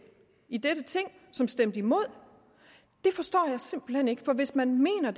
i dette ting som stemte imod det forstår jeg simpelt hen ikke for hvis man mener